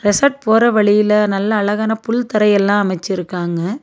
Resort போற வழியில நல்ல அழகான புல் தரையெல்லா அமைச்சிருக்காங்க.